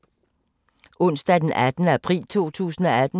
Onsdag d. 18. april 2018